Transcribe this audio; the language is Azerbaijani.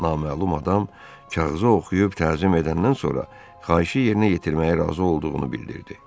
Naməlum adam kağızı oxuyub təzim edəndən sonra xahişi yerinə yetirməyə razı olduğunu bildirdi.